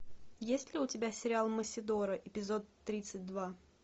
есть ли у тебя сериал мосидора эпизод тридцать два